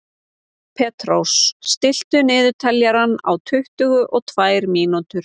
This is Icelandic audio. Petrós, stilltu niðurteljara á tuttugu og tvær mínútur.